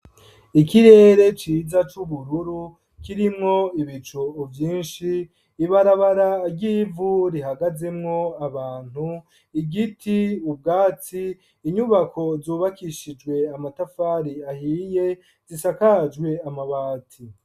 Ikirere ciza, c'ubururu, kirimwo ibicu vyinshi; ibarabara ry'ivu, rihagazemwo abantu; igiti, ubwatsi, inyubako, zubakishijwe amatafari ahiye, zisakajwe amabati.